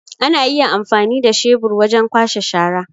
Ana iya amfani da shebur wajen kwashe shara.